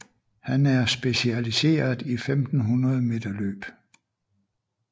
Han er specialiseret i 1500 meter løb